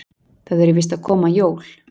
Það eru víst að koma jól.